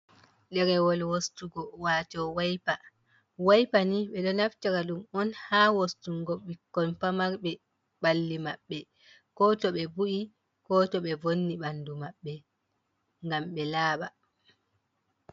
Derewol wostugo wato waipa waipa ni ɓe ɗo naftira ɗum on ha wostungo bikkol pamarɓe balli maɓbe ko to ɓe bu’i ko to ɓe vonni ɓandu maɓɓe ngam ɓe laaba.